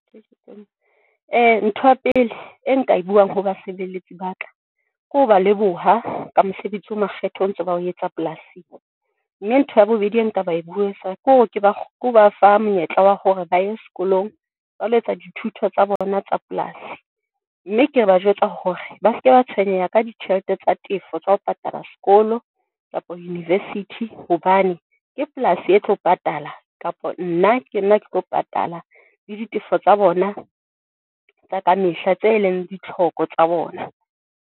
Ntho ya pele e nka e buang ho basebeletsi ba ka ke ho ba leboha ka mosebetsi o makgethe, o ntso bao etsa polasing mme ntho ya bobedi e nka ba e kore ke ba ke ba fa monyetla wa hore ba ye sekolong ba lo jwalo etsa dithuto tsa bona tsa polasi, mme ke ba jwetsa hore, ba seke ba tshwenyeha ka ditjhelete tsa tefo tsa ho patala sekolo kapa university hobane ke polasi e tlo patala, kapa nna ke nna ke tlo patala le ditefo tsa bona tsa ka mehla, tse leng ditlhoko tsa bona.